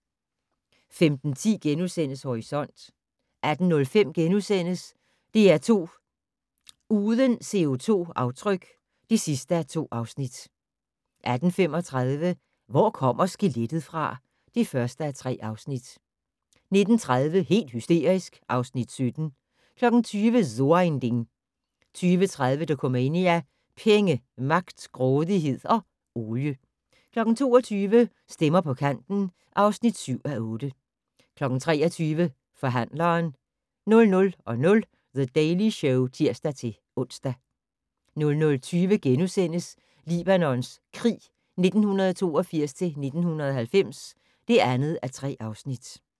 15:10: Horisont * 18:05: DR2 Uden CO2-aftryk (2:2)* 18:35: Hvor kommer skelettet fra? (1:3) 19:30: Helt hysterisk (Afs. 17) 20:00: So ein Ding 20:30: Dokumania: Penge, magt, grådighed og olie 22:00: Stemmer på kanten (7:8) 23:00: Forhandleren 00:00: The Daily Show (tir-ons) 00:20: Libanons krig 1982-1990 (2:3)*